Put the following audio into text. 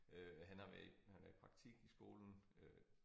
Øh han har været i han er i praktik i skolen øh